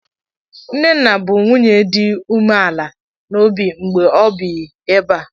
Nnenna bụ nwunye dị umeala n'obi mgbe o bi ebe a.